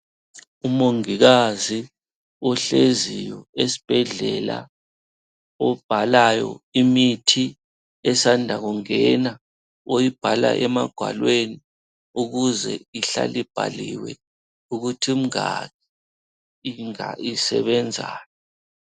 Umongikazi ohleziyo esibhedlela obhalayo imithi esanda kungena oyibhala emagwalweni ukuze ihlale ibhaliwe ukuthi imingaki, isebenzani.